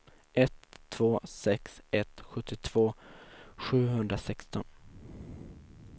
ett två sex ett sjuttiotvå sjuhundrasexton